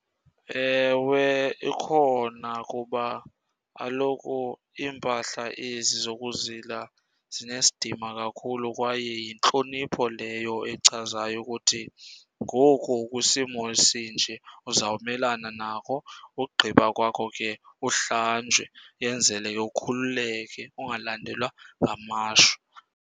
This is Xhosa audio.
Ewe, ikhona kuba kaloku iimpahla ezi zokuzila zinesidima kakhulu kwaye yintlonipho leyo echazayo ukuthi ngoku kwisimo esinje uzawumelana nako. Ugqiba kwakho ke uhlanjwe, yenzele ke ukhululeke ungalandelwa ngamashwa.